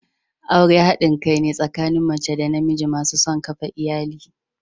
Aure hadin kai ne tsakanin mace da namiji masu son kafa iyali.